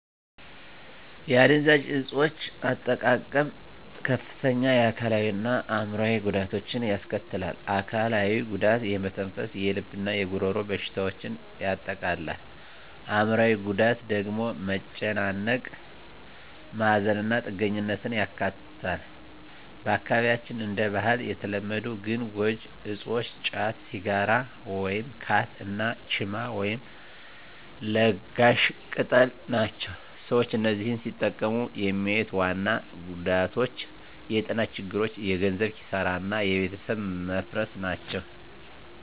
የአደንዛዥ እፆች አጠቃቀም ከፍተኛ የአካላዊ እና አዕምሮአዊ ጉዳቶችን ያስከትላል። አካላዊው ጉዳት የመተንፈስ፣ የልብ እና የጉሮሮ በሽታዎችን ያጠቃልላል። አዕምሮአዊው ጉዳት ደግሞ መጨናነቅ፣ ማዘን እና ጥገኛነትን ያካትታል። በአካባቢያችን እንደ ባህል የተለመዱ ግን ጎጂ እፆች ጫት፣ ሲጋራ (ካት) እና ቺማ (ለጋሽ ቅጠል) ናቸው። ሰዎች እነዚህን ሲጠቀሙ የሚያዩት ዋና ጉዳቶች የጤና ችግሮች፣ የገንዘብ ኪሳራ እና የቤተሰብ መፈረስ ናቸው።